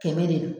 Kɛmɛ de do